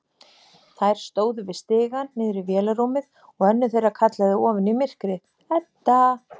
Þær stóðu við stigann niður í vélarrúmið og önnur þeirra kallaði ofan í myrkrið: Edda!